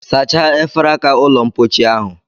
Sachaa efere aka ụlọmpochi ahụ